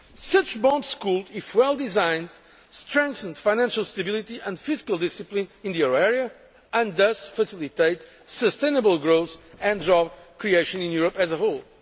other. Such bonds could, if well designed, strengthen financial stability and fiscal discipline in the euro area, and thus facilitate sustainable growth and job creation in Europe as